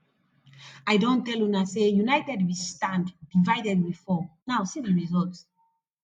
i don tell una say united we standdivided we fall now see the result